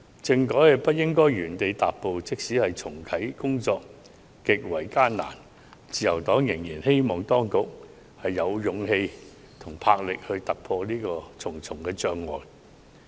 政改不應原地踏步，即使重啟工作極為艱難，自由黨仍然希望當局有勇氣和魄力，突破重重障礙。